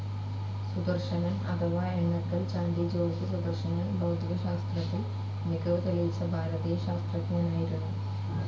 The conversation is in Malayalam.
സുദർശൻ അഥവാ എണ്ണക്കൽ ചാണ്ടി ജോർജ് സുദർശൻ ഭൗതികശാസ്ത്രത്തിൽ മികവ് തെളിയിച്ച ഭാരതീയ ശാസ്ത്രജ്ഞനായിരുന്നു.